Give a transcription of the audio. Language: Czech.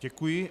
Děkuji.